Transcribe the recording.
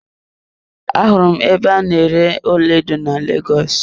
Ahụrụ m ebe a na-ere ọlaedo na Lagos.